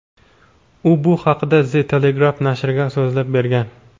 U bu haqida The Telegraph nashriga so‘zlab bergan .